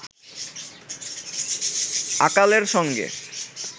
আকালের সঙ্গে